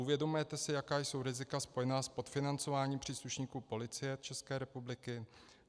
Uvědomujete si, jaká jsou rizika spojená s podfinancováním příslušníků Policie ČR?